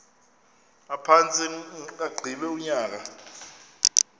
aphantse agqiba unyaka